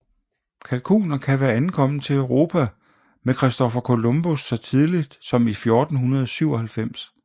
Kalkuner kan være ankommet til Europa med Christopher Columbus så tidligt som i 1497